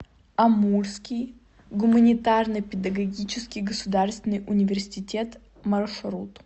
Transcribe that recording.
амурский гуманитарно педагогический государственный университет маршрут